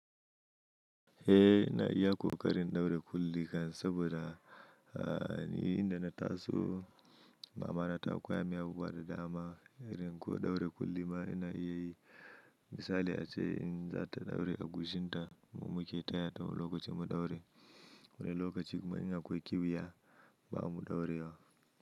Eh ina iya ƙoƙarin ɗaure kulli kan saboda, ah, ni inda na taso mama na ta koya min abubuwa da dama, irin ko ɗaure kulli ma ina iya yi. Misali ace in za ta ɗaure a gushinta mu muke tayata wani lokacin mu ɗaure, wani lokaci kuma in akwai kewya ba mu ɗaurewa.